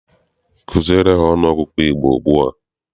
Kuziere ha ọnụọgụgụ Igbo ugbua!